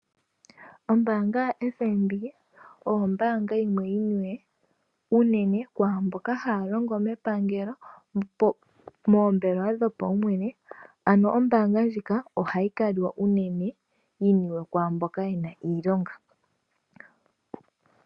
Ombaanga yoFNB oyo ombaanga yimwe yini we unene kwaamboka haya longo mepangelo, nomoombelewa dhopaumwene. Ano ombaanga ndjika ohayi kaliwa unene yini we kwaamboka yena iilonga.